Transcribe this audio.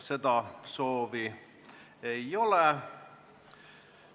Seda soovi ei ole.